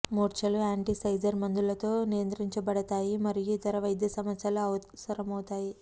మూర్ఛలు antiseizure మందులతో నియంత్రించబడతాయి మరియు ఇతర వైద్య సమస్యలు అవసరమవుతాయి